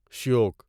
Shyok